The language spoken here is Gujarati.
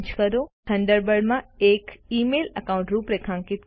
થંડરબર્ડ માં એક ઇમેઇલ એકાઉન્ટ રૂપરેખાંકિત કરો